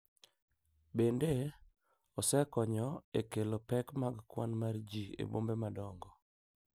Bende, osekonyo e kelo pek mag kwan mar ji e bombe madongo.